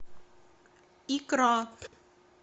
икра